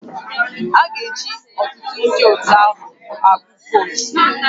A ga-eji ọtụtụ ndị otu ahụ agụọ votu